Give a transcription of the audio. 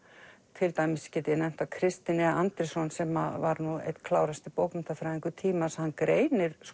til dæmis get ég nefnt að Kristinn e Andrésson sem var nú einn klárasti bókmenntafræðingur tímans hann greinir